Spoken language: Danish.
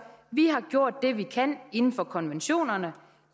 vi har gjort det vi kan inden for konventionerne